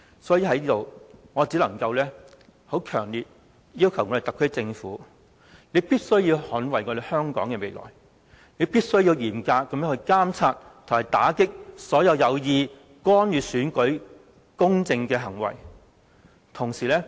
所以，我強烈要求特區政府，必須捍衞香港的未來，必須嚴格監察和打擊所有有意干預選舉公正的行為。